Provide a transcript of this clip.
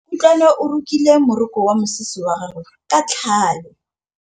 Kutlwanô o rokile morokô wa mosese wa gagwe ka tlhale.